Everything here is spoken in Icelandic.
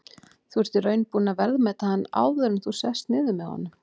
Þú ert í raun búinn að verðmeta hann áður en þú sest niður með honum?